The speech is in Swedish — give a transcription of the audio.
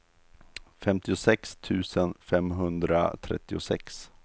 femtiosex tusen femhundratrettiosex